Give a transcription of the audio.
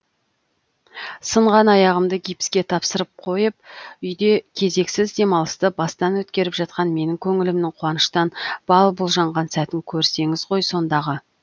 сынған аяғымды гипске тапсырып қойып үйде кезексіз демалысты бастан өткеріп жатқан менің көңілімнің қуаныштан бал бұл жанған сәтін көрсеңіз ғой сондағы